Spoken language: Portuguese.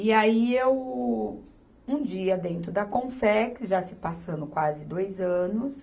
E aí eu, um dia dentro da Confex, já se passando quase dois anos,